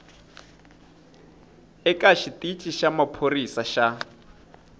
eka xitici xa maphorisa xa